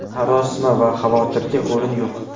Sarosima va xavotirga o‘rin yo‘q.